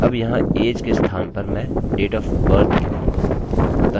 अब यहाँ age के स्थान पर मैं date of birth लिखूँगा